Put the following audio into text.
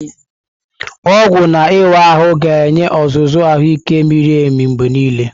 Ọgwụ na ịwa ahụ ga-enye ọzụzụ ahụike miri emi mgbe niile.